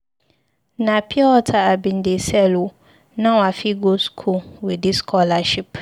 Na pure wata I bin dey sell o, now I fit go skool with dis scholarship.